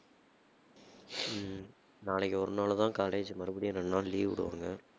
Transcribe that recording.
ஹம் நாளைக்கு ஒரு நாளுதான் college மறுபடியும் ரெண்டு நாள் leave விடுவாங்க